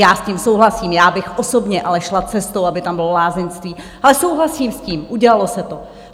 Já s tím souhlasím, já bych osobně ale šla cestou, aby tam bylo lázeňství, ale souhlasím s tím, udělalo se to.